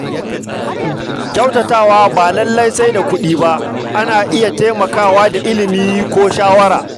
Kyautatawa ba lallai sai da kuɗi ba, ana iya taimakawa da ilimi ko shawara.